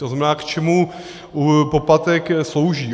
To znamená, k čemu poplatek slouží.